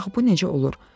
Axı bu necə olur?